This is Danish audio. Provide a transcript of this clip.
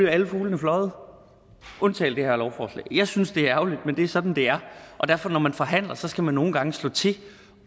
er alle fuglene fløjet undtagen det her lovforslag jeg synes det er ærgerligt men det er sådan det er derfor når man forhandler skal man nogle gange slå til